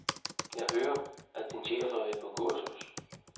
Jeg hører, at din chef har været på kursus.